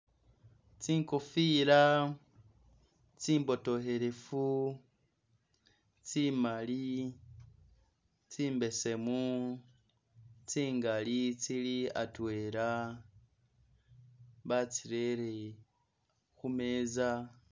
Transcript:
Tsingofira tsimbotohelefu tsi'mali, tsi mbesemu tsingali tsili atwela, batsirere khu meza